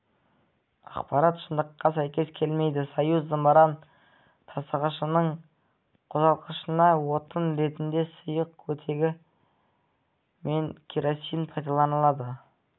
ақпарат шындыққа сәйкес келмейді союз зымыран тасығышының қозғалтқышына отын ретінде сұйық оттегі мен керосин пайдаланылады